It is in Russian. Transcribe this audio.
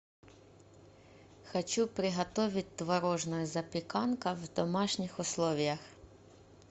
хочу приготовить творожную запеканка в домашних условиях